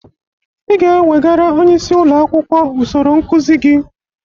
Ị ga-ewegara onyeisi ụlọ akwụkwọ usoro nkụzị gị!